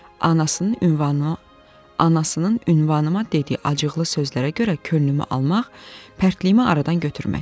Anasının ünvanına, anasının ünvanıma dediyi acıqlı sözlərə görə könlümü almaq, pərtliyimi aradan götürmək.